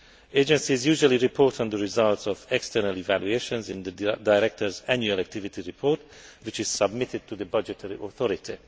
Agencies usually report on the results of external evaluations in the director's annual activity report, which is submitted to the budgetary authority.